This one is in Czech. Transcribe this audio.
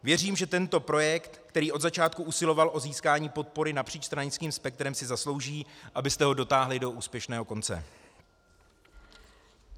Věřím, že tento projekt, který od začátku usiloval o získání podpory napříč stranickým spektrem, si zaslouží, abyste ho dotáhli do úspěšného konce.